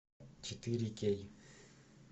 четыре кей